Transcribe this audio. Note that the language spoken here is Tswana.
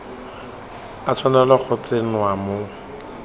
a tshwanela go tsenngwa mo